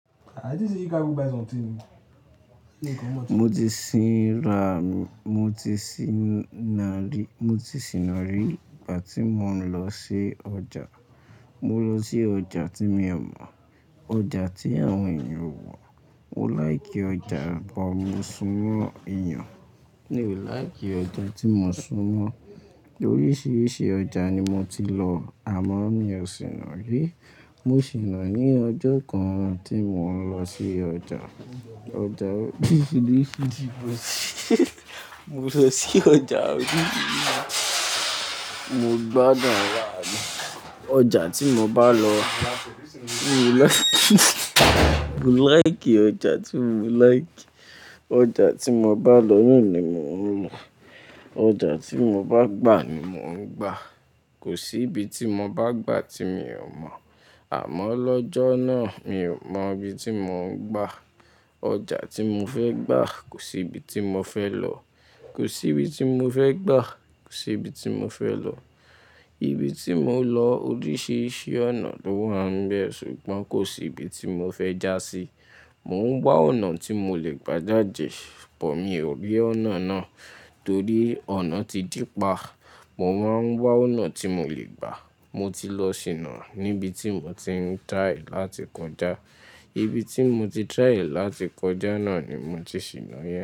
Mo ti ṣìnà rí ìgbà tí mo ń lọ sí ọjà. Mo lọ sí ọjà tí mi ò mọ̀, ọjà tí àwọn ènìyàn ò mọ̀. Mo láìkí ọjà bọ̀ mo sún mọ́ èèyàn. Mi ò láì kí ọjà tí mo sún mọ́. Oríṣiríṣi ọjà ni mo ti lọ àmọ́ mi ò ṣìnà rí. Mo ṣìnà ní ọjọ́ kan tí mò ń lọ sí ọjà. Mo lọ sí ọjà oríṣiríṣi. Mo gbádùn ara mi ọjà tí mo bá lọ. Mo like ọjà tí mo like. Ọjà tí mo bá lọ nìyẹn ni mò ń lọ. Ọjà tí mo bá gbà ni mò ń gba. Kò sí ibi tí mo bá gbà tí mi ò mọ̀. Àmọ́ lọ́jọ́ náà mi ò mọ ibi tí mò ń gba. Ọjà tí mo fẹ́ gbà kò sí ibi tí mo fẹ́ lọ. Kò sí ibi tí mo fẹ́ gbà, kò sí ibi tí mo fẹ́ lọ. Ibi tí mò ń lọ oríṣiríṣi ọ̀nà ló wà ń bẹ ṣùgbọ́n kò sí ibi tí mo fẹ́ já sí. Mò ń wá ọ̀nà tí mo lè gbá jáde but mi ò rí ọ̀nà náà torí ọ̀nà ti dí pa. Mo máa ń wá ọ̀nà tí mo lè gbà. Mo ti lọ ṣìnà níbi tí mo ti ń try láti kọjá. Ibi tí mo ti try láti kọjá náà ni mo ti ṣìnà yẹn.